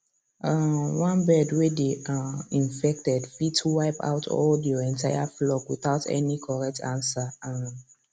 um one bird way dey um infected fit wipe out all your entire flock without any correct answer um